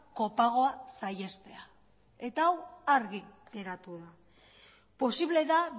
kopagoa saihestea eta hau argi geratu da posible da